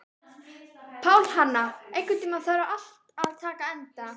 Pálhanna, einhvern tímann þarf allt að taka enda.